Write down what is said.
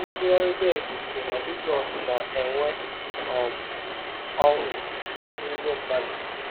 Nsụgharị Beck kwuru na Jizọs “na-enwe um ọṅụ n’ime mmadụ.”